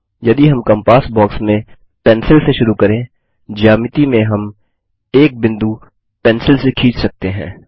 यदि हम compass box में पेंसिल से शुरू करें ज्यामिती में हम एक बिंदु पेंसिल से खींच सकते हैं